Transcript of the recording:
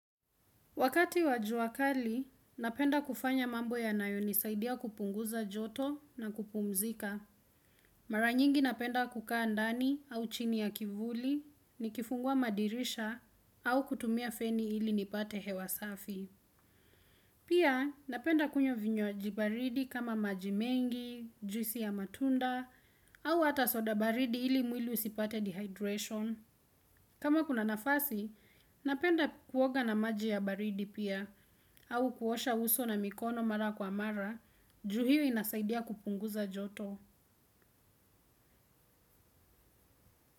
Wakati wa jua kali napenda kufanya mambo yanayo nisaidia kupunguza joto na kupumzika. Maranyingi napenda kukaa ndani au chini ya kivuli ni kifungua madirisha au kutumia feni ili nipate hewasafi. Pia napenda kunywa vinywaji baridi kama maji mengi, juisi ya matunda au hata soda baridi ili mwili usipate dehydration. Kama kuna nafasi, napenda kuoga na maji ya baridi pia, au kuosha uso na mikono mara kwa mara, juu hio inasaidia kupunguza joto.